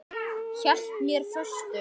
Hélt mér föstum.